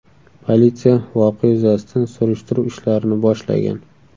Politsiya voqea yuzasidan surishtiruv ishlarini boshlagan.